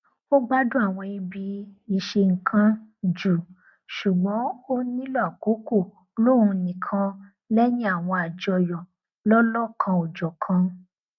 ó gbádùn àwọn ibi ìṣennkan jù ṣùgbọn ó nílò àkókò lóhun nìkan lẹyìn àwọn àjọyọ lọlọkanòjọkan